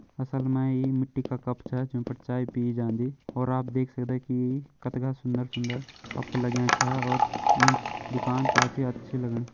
असल मा इ मिट्टी का कप छ जों पर चाय पि जांदी और आप देख सकदा की कतिगा सुंदर सूंदर कप लग्यां छा और ईं दुकान काफी अच्छी लगणी।